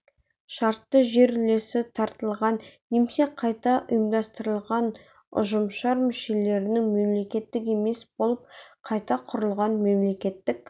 шартты жер үлесі таратылған немесе қайта ұйымдастырылған ұжымшар мүшелерінің мемлекеттік емес болып қайта құрылған мемлекеттік